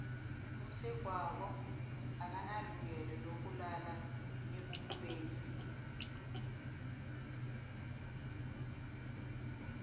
umsegwabo akanalungelo lokulala ebukhweni